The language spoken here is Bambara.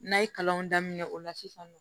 N'a ye kalanw daminɛ o la sisan nɔ